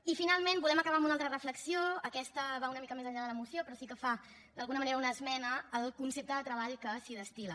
i finalment volem acabar amb una altra reflexió aquesta va una mica més enllà de la moció però sí que fa d’alguna manera una esmena al concepte de treball que s’hi destil·la